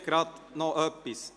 Vielleicht gerade noch etwas.